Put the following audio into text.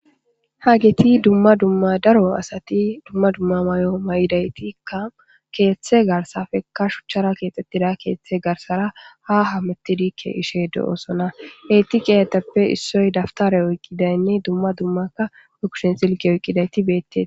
Hageti dumma dumma daro asati dumma dumma mayo mayidaytikka keeththe garsafekka shuchchara keexxettida keeththe garsara ha hamati diikke ishe do7osona eetiqeyateppe issoy daftare oyqqidaynni dumma dummaka ukushen silqe oqqidayti beette.